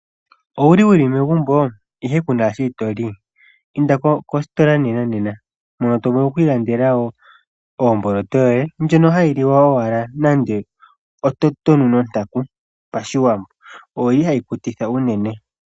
Owuli wuli megumbo ihe kuna shoka toli inda kositola nena nena , moka to vulu okwiilandela wo oomboloto yoye hayi liwa ashike nando onontaku poashiwambo oyili hayi kutitha unene.